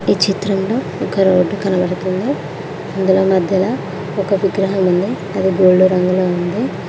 ఈ చిత్రంలో ఒక రోడ్డు కనబడుతుంది ఇందులో మధ్యల ఒక విగ్రహం ఉంది అది గోల్డ్ రంగులో ఉంది.